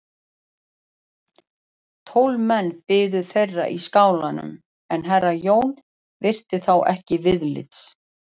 Tólf menn biðu þeirra í skálanum en herra Jón virti þá ekki viðlits.